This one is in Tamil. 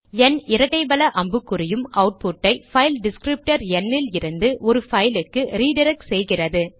ந் இரட்டை வல அம்புக்குறி யும் அவுட்புட் ஐ பைல் டிஸ்க்ரிப்டர் ந் இலிருந்து ஒரு பைல் க்கு ரிடிரக்ட் செய்கிறது